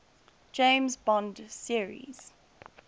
james bond series